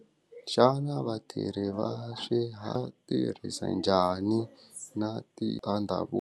Xana vatirhi va swi ha tirhisa njhani na tiva .